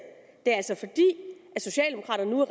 det er altså fordi socialdemokraterne nu er